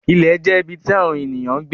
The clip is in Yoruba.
Ìlẹ̀ jẹ̀ ibí tí Àwọńènìyàn ǹ gbé.